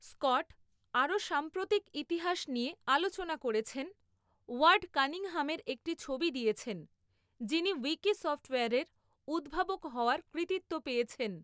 Scott আরও সাম্প্রতিক ইতিহাস নিয়ে আলোচনা করেছেন, ওয়ার্ড কানিংহামের একটি ছবি দিয়েছেন, যিনি উইকি সফ্টওয়্যারের উদ্ভাবক হওয়ার কৃতিত্ব পেয়েছেন।